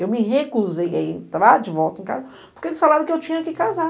Eu me recusei a entrar de volta em casa, porque eles falaram que eu tinha que casar.